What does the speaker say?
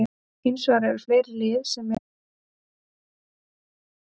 Hins vegar eru fleiri lið sem eru ekki síður með vel mönnuð lið.